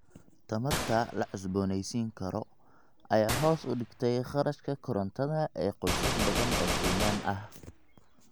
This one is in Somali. Tamarta la cusboonaysiin karo ayaa hoos u dhigtay kharashka korontada ee qoysas badan oo Kenyan ah.